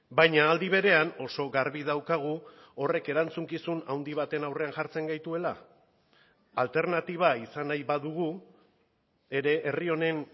baina aldi berean oso garbi daukagu horrek erantzukizun handi baten aurrean jartzen gaituela alternatiba izan nahi badugu ere herri honen